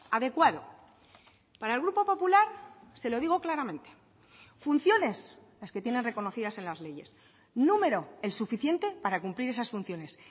adecuado para el grupo popular se lo digo claramente funciones las que tienen reconocidas en las leyes número el suficiente para cumplir esas funciones